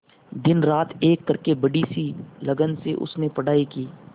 दिनरात एक करके बड़ी ही लगन से उसने पढ़ाई की